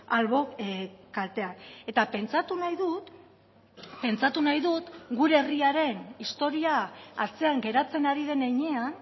albo kalteak eta pentsatu nahi dut pentsatu nahi dut gure herriaren historia atzean geratzen ari den heinean